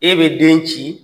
E be den ci